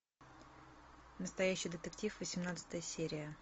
настоящий детектив восемнадцатая серия